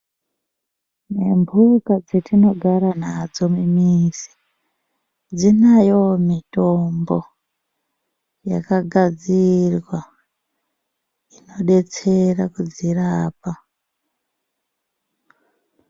Ne mbuka dzetinogara nadzo mu mizi dzinayowo mitombo yaka gadzirwa ino detsera kudzirapa.